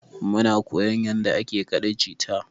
Muna koyan yanda ake kaɗa jita.